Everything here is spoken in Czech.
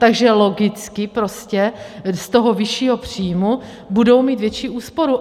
Takže logicky prostě z toho vyššího příjmu budou mít větší úsporu.